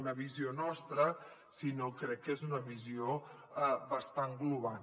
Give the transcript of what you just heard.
una visió nostra sinó que crec que és una visió bastant global